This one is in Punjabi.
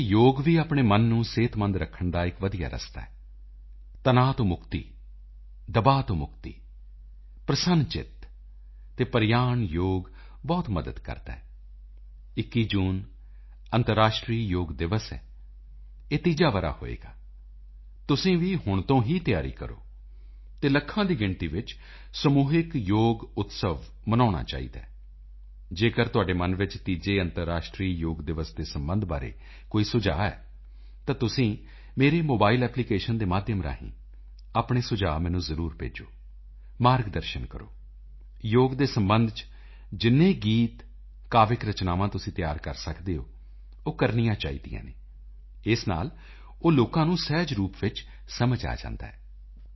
ਵੈਸੇ ਯੋਗ ਵੀ ਆਪਣੇ ਮਨ ਨੂੰ ਸਿਹਤਮੰਦ ਰੱਖਣ ਦਾ ਇਕ ਵਧੀਆ ਰਸਤਾ ਹੈ ਤਣਾਓ ਤੋਂ ਮੁਕਤੀ ਦਬਾਓ ਤੋਂ ਮੁਕਤੀ ਪ੍ਰਸੰਨਚਿਤ ਅਤੇ ਪ੍ਰਯਾਣ ਯੋਗ ਬਹੁਤ ਮਦਦ ਕਰਦਾ ਹੈ 21 ਜੂਨ ਅੰਤਰਰਾਸ਼ਟਰੀ ਯੋਗ ਦਿਵਸ ਹੈ ਇਹ ਤੀਜਾ ਵਰ੍ਹਾ ਹੋਵੇਗਾ ਤੁਸੀਂ ਵੀ ਹੁਣ ਤੋਂ ਹੀ ਤਿਆਰੀ ਕਰੋ ਅਤੇ ਲੱਖਾਂ ਦੀ ਗਿਣਤੀ ਵਿੱਚ ਸਮੂਹਿਕ ਯੋਗ ਉਤਸਵ ਮਨਾਉਣਾ ਚਾਹੀਦਾ ਹੈ ਜੇਕਰ ਤੁਹਾਡੇ ਮਨ ਵਿੱਚ ਤੀਜੇ ਅੰਤਰਰਾਸ਼ਟਰੀ ਯੋਗ ਦਿਵਸ ਦੇ ਸਬੰਧ ਬਾਰੇ ਕੋਈ ਸੁਝਾਅ ਹੈ ਤਾਂ ਤੁਸੀਂ ਮੇਰੇ ਮੋਬਾਈਲ ਐਪਲੀਕੇਸ਼ਨ ਦੇ ਮਾਧਿਅਮ ਰਾਹੀਂ ਆਪਣੇ ਸੁਝਾਅ ਮੈਨੂੰ ਜ਼ਰੂਰ ਭੇਜੋ ਮਾਰਗ ਦਰਸ਼ਨ ਕਰੋ ਯੋਗ ਦੇ ਸਬੰਧ ਚ ਜਿੰਨੇ ਗੀਤ ਕਾਵਿਕ ਰਚਨਾਵਾਂ ਤੁਸੀਂ ਤਿਆਰ ਕਰ ਸਕਦੇ ਹੋ ਉਹ ਕਰਨੀਆਂ ਚਾਹੀਦੀਆਂ ਹਨ ਇਸ ਨਾਲ ਉਹ ਲੋਕਾਂ ਨੂੰ ਸਹਿਜ ਰੂਪ ਵਿੱਚ ਸਮਝ ਆ ਜਾਂਦਾ ਹੈ